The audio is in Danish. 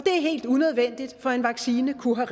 helt unødvendigt for en vaccine kunne